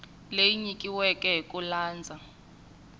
leyi nyikiweke hi ku landza